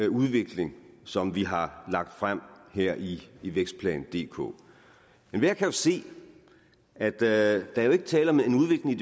udvikling som vi har lagt frem her i vækstplan dk enhver kan jo se at der ikke er tale om en udvikling